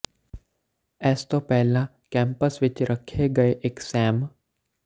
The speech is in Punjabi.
ਇਸ ਤੋਂ ਪਹਿਲਾਂ ਕੈਂਪਸ ਵਿਚ ਰੱਖੇ ਗਏ ਇਕ ਸੈਮ